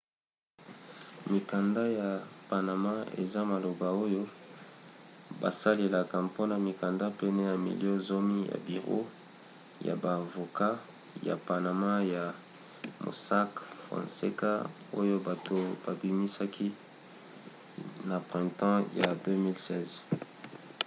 mikanda ya panama eza maloba oyo basalelaka mpona mikanda pene ya milio zomi ya biro ya ba avoka ya panama ya mossack fonseca oyo bato babimisaki na printemps ya 2016